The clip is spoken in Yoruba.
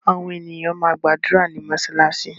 Àwọn ènìyàn má gbàdúrà ní mosalasi